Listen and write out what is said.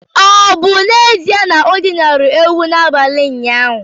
Ọ̀ bụ n’ezie na o dinara ewu n’abalị ụnyaahụ?